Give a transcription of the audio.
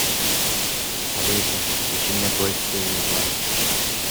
алиса включи мне бой с тенью два